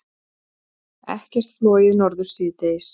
Ekkert flogið norður síðdegis